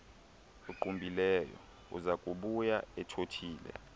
uqumbileyo uzakubuya ethothile